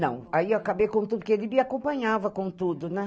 Não, aí eu acabei com tudo, porque ele me acompanhava com tudo, né?